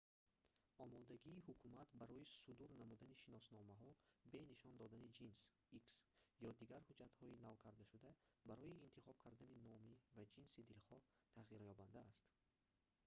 омодагии ҳукумат барои судур намудани шиносномаҳо бе нишон додани ҷинс x ё дигар ҳуҷҷатҳои навкардашуда барои интихоб кардани номи ва ҷинси дилхоҳ тағйирёбанда аст